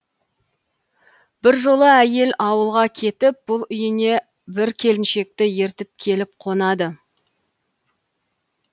бір жолы әйел ауылға кетіп бұл үйіне бір келіншекті ертіп келіп қонады